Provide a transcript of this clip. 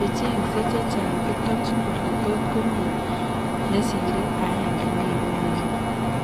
Checheng'see chechang' kotomchin kole totkomii nesire aenge neibu mioni